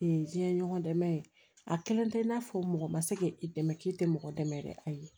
diɲɛ ɲɔgɔn dɛmɛ a kelen tɛ i n'a fɔ mɔgɔ ma se k'i dɛmɛ k'i tɛ mɔgɔ dɛmɛ yɛrɛ ayi